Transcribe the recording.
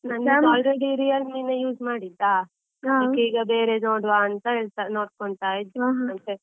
ನಂದು already Realme ನೇ use ಮಾಡಿದ್ದ, ಅದಿಕ್ಕೆ ಈಗ ಬೇರೆ ನೋಡುವ ಅಂತ ನೋಡ್ಕೋತಾ ಇದ್ದೆ.